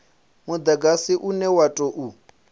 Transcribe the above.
mudagasi une wa u tou